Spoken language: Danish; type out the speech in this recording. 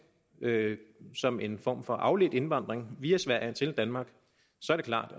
som en form for afledt indvandring via sverige til danmark er det klart